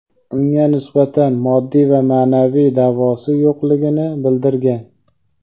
unga nisbatan moddiy va ma’naviy da’vosi yo‘qligini bildirgan.